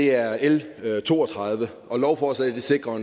er l to og tredive og lovforslaget vil sikre